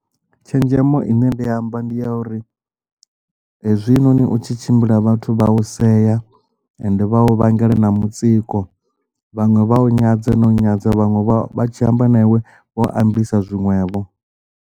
Tshenzhemo ine ndi amba ndi ya uri hezwinoni u tshi tshimbila vhathu vha u sea ende vha u vhangela na mutsiko vhaṅwe vha u nyadze no nyadza vhaṅwe vha tshi amba na iwe vha u ambisa zwiṅwevho.